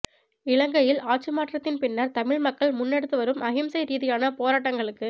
இலங்கையில் ஆட்சி மாற்றத்தின் பின்னர் தமிழ் மக்கள் முன்னெடுத்துவரும் அஹிம்சை ரீதியான போராட்டங்களுக்கு